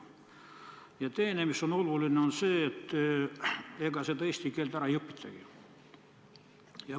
Ja teiseks, oluline on ka see, et ega eesti keelt ära ei õpitagi.